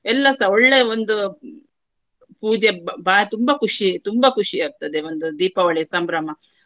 ಎಲ್ಲಸ ಒಳ್ಳೆಯ ಒಂದು ಪೂಜೆ ಬಾ~ ಬಾ~ ತುಂಬಾ ಖುಷಿ ತುಂಬಾ ಖುಷಿಯಾಗ್ತದೆ ಒಂದು ದೀಪಾವಳಿ ಸಂಭ್ರಮ.